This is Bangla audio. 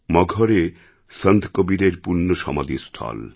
মগহরএ সন্ত কবীরএর পুণ্যসমাধিস্থল